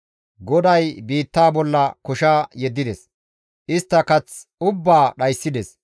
GODAY biittaa bolla kosha yeddides. Istta kath ubbaa dhayssides.